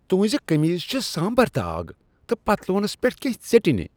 تُہنزِ كمیز چھِ سامبر داغ تہٕ پتلوٗنس پیٹھ كینہہ ژیٚٹِنہِ ۔